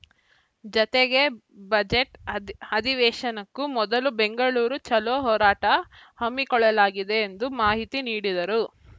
ಜತೆಗೆ ಬಜೆಟ್‌ ಅದಿ ಅಧಿವೇಶನಕ್ಕೂ ಮೊದಲು ಬೆಂಗಳೂರು ಚಲೋ ಹೋರಾಟ ಹಮ್ಮಿಕೊಳ್ಳಲಾಗಿದೆ ಎಂದು ಮಾಹಿತಿ ನೀಡಿದರು